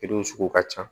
sugu ka ca